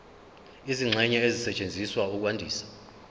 izingxenye ezisetshenziswa ukwandisa